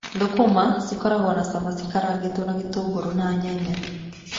Thũkũma cikoragwo na cama cikarangĩtwo na gĩtũngũrũ na nyanya.